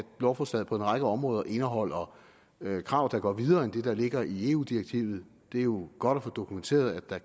lovforslaget på en række områder indeholder krav der går videre end det der ligger i eu direktivet det er jo godt at få dokumenteret at der